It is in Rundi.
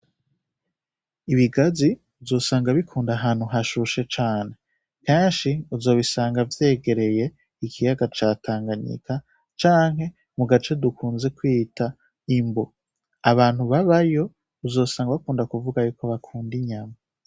Ibigazi uzosanga bikunda ahantu hashushe cane kanshi uzobisanga vyegereye ikiyaga catanganyika canke mu gace dukunze kwita imbo abantu babayo uzosanga bakunda kuvuga yuko bakunda inyama.